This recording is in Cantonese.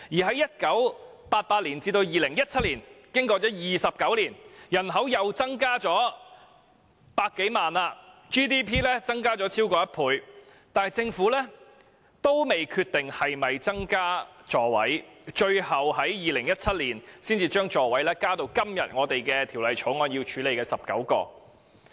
在1988年至2017年的29年間，人口又再增加百多萬人 ，GDP 更已增加超過一倍，但政府依然未決定是否增加座位，最後要到2017年才將座位數目增加至今天《條例草案》所處理的19個。